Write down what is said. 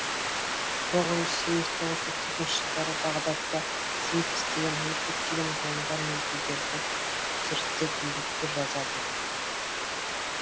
тоғыз жүз сегіз тоғыз жүз отыз екінші жылдары бағдатта қызмет істеген ол көптеген ғылымдар мен тілдерді зерттеп еңбектер жазады